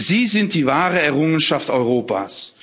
Sie sind die wahre Errungenschaft Europas.